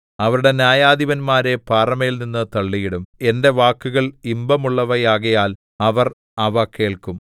അവരുടെ ന്യായാധിപന്മാരെ പാറമേൽ നിന്ന് തള്ളിയിടും എന്റെ വാക്കുകൾ ഇമ്പമുള്ളവയാകയാൽ അവർ അവ കേൾക്കും